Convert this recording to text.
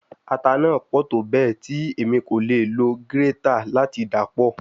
Ata naa pọ tobẹẹ ti Emi ko le lo grater lati dapọ